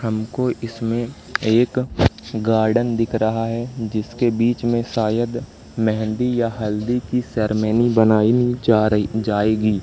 हमको इसमें एक गार्डन दिख रहा है जिसके बीच में शायद मेहंदी या हल्दी की सेरेमनी बनाई जा रही जाएगी।